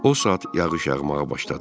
O saat yağış yağmağa başladı.